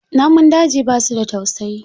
Namun daji ba su da tausayi.